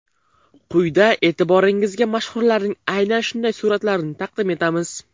Quyida e’tiboringizga mashhurlarning aynan shunday suratlarini taqdim etamiz.